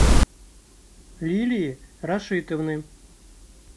лилии рашитовны